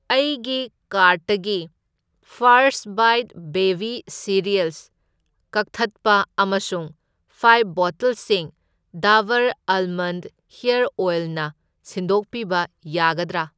ꯑꯩꯒꯤ ꯀꯥꯔꯠꯇꯒꯤ first bites baby cereals ꯀꯛꯊꯠꯄ ꯑꯃꯁꯨꯡ ꯐꯥꯢꯐ ꯕꯣꯇꯜꯁꯤꯡ ꯗꯥꯕꯔ ꯑꯥꯜꯃꯟꯗ ꯍꯦꯔ ꯑꯣꯢꯜꯅ ꯁꯤꯟꯗꯣꯛꯄꯤꯕ ꯌꯥꯒꯗ꯭ꯔꯥ?